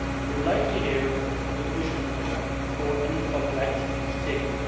I would like to hear from the Commission before any further action is taken.